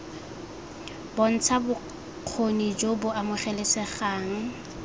bontsha bokgoni jo bo amogelesegang